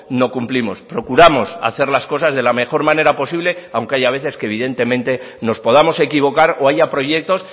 no cumplimos procuramos hacer las cosas de la mejor manera posible aunque haya veces que evidentemente nos podamos equivocar o haya proyectos